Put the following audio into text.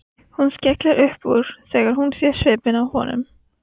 Hún skellir upp úr þegar hún sér svipinn á honum.